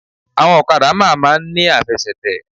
Áwọn òkadà má máa n ní àfesètè